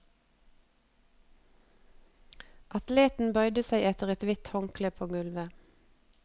Atleten bøyde seg etter et hvitt håndkle på gulvet.